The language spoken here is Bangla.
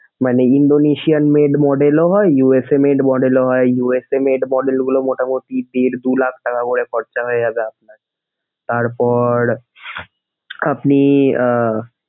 মানে Indonesian made model ও হয় USA made model ও হয়, USA made model গুলো মোটামোটি দেড় দুই লাখ টাকা করে খরচ হয়ে যাবে আপনার। তারপর আপনি আহ,